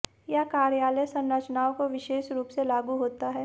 यह कार्यालय संरचनाओं को विशेष रूप से लागू होता है